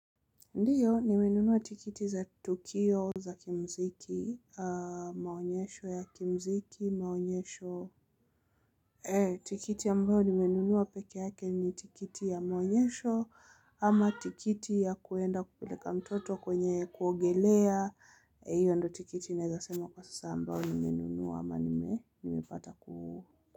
Ndiyo, nimenunua tiketi za tukio za kimuziki, maonyesho ya kimuziki, maonyesho. Tiketi ambayo nimenunua peke yake ni tiketi ya maonyesho ama tiketi ya kuenda kupeleka mtoto kwenye kuogelea. Hiyo ndo tiketi naeza sema kwa sasa ambayo nimenunua ama nimepata ku.